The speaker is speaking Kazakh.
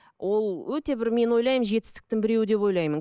ол өте бір мен ойлаймын жетістіктің біреуі деп ойлаймын